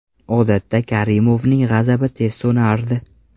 Odatda Karimovning g‘azabi tez so‘nardi.